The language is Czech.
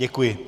Děkuji.